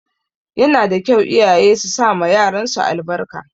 Yana da kyau iyaye su sama yaran su albarka.